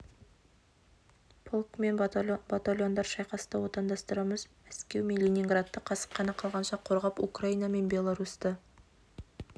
полк мен батальондар шайқасты отандастарымыз мәскеу мен ленинградты қасық қаны қалғанша қорғап украина мен беларусьті